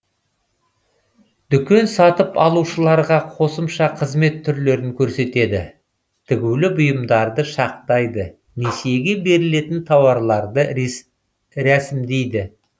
дүкен сатып алушыларға қосымша қызмет түрлерін көрсетеді тігулі бұйымдарды шақтайды несиеге берілетін тауарларды рәсімдейді